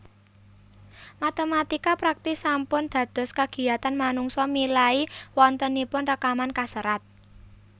Matématika praktis sampun dados kagiyatan manungsa milai wontenipun rekaman kaserat